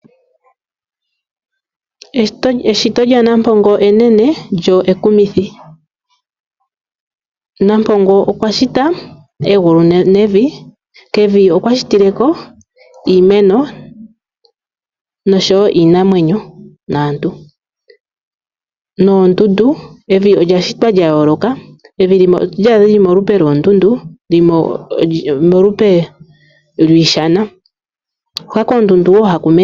Eshito lyaNampongo enene kyo ekumithi. Nampongo okwa shita egulu nevi, kevi okwashitikeko iimeno, iinamwenyo naantu . Evi olya shitwa lyayooloka limwe otoli adha lyili molupe lwoondundu limwe olyiishana.